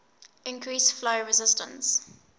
increase flow resistance